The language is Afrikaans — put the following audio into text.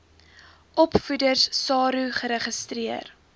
opvoeders saro geregistreer